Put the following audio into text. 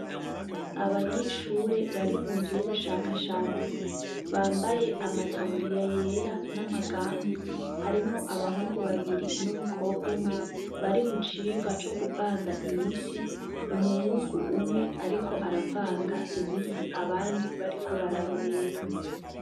Abanyeshure bari mu nzu yubushakashatsi bambaye amataburiya yera nama gant harimwo abahungu babiri numukobwa umwe bari mu cigwa co kuvanga imiti umuhungu umwe ariko aravanga imiti abandi bariko bararorera.